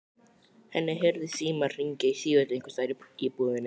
Henni heyrðist síminn hringja í sífellu einhvers staðar í íbúðinni.